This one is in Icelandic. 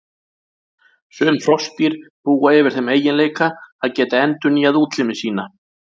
Sum froskdýr búa yfir þeim eiginleika að geta endurnýjað útlimi sína.